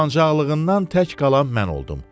Utancaqığından tək qalan mən oldum.